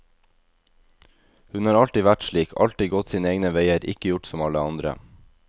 Hun har alltid vært slik, alltid gått sine egne veier, ikke gjort som alle andre.